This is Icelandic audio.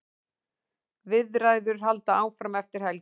Viðræður halda áfram eftir helgi.